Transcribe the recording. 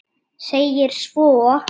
segir svo